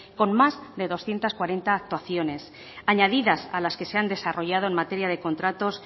con más de doscientos cuarenta actuaciones añadidas a las que se han desarrollado en materia de contratos